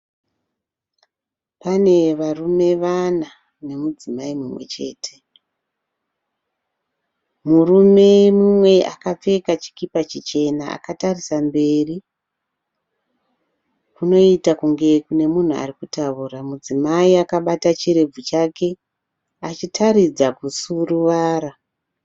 Pane varume vana murume nemudzimai mumwechete murume mumwe akapfeka chipika chichena akatarisa kumberi kunoiita kunge munhu ari kutaura. Mudzimai akabata chirebvu chake achitaridza kusuruvara.